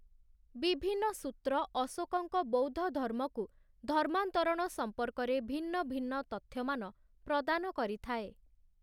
ବିଭିନ୍ନ ସୂତ୍ର ଅଶୋକଙ୍କ ବୌଦ୍ଧଧର୍ମକୁ ଧର୍ମାନ୍ତରଣ ସମ୍ପର୍କରେ ଭିନ୍ନ ଭିନ୍ନ ତଥ୍ୟମାନ ପ୍ରଦାନ କରିଥାଏ ।